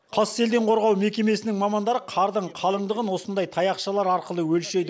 қас селден қорғау мекемесінің мамандары қардың қалыңдығын осындай таяқшалар арқылы өлшейді